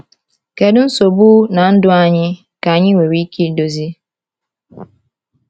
Kedu nsogbu na ndụ anyị ka anyị nwere ike idozi?